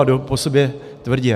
A jdou po sobě tvrdě.